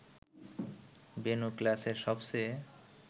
বেণু ক্লাসের সবচেয়ে